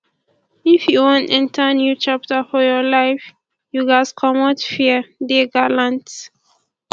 if you wan enter new chapter for your life you ghas comot fear dey gallant